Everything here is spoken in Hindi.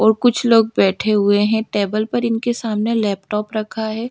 और कुछ लोग बैठे हुए है टेबल पर इनके सामने लैपटॉप रखा है।